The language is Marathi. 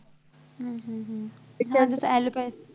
हम्म हम्म हम्म allopathy